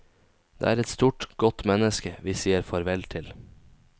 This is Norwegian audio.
Det er et stort, godt menneske vi sier farvel til.